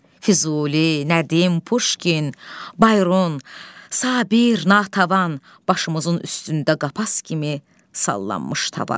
Füzuli, Nədim, Puşkin, Bayron, Sabir, Natəvan, başımızın üstündə qapaz kimi sallanmış tavan.